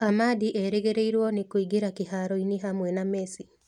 Ahmadi erĩgĩrĩgĩrĩrũo nĩ kũingĩra kĩhaaro-inĩ hamwe na Messi.